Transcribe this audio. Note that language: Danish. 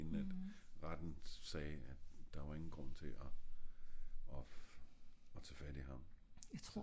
inden at retten sagde at der var ingen grund til at og og og tag fat i ham